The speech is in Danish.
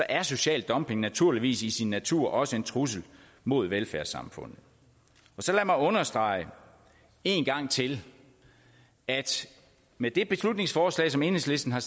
er social dumping naturligvis i sin natur også en trussel mod velfærdssamfundet så lad mig understrege en gang til at med det beslutningsforslag som enhedslisten har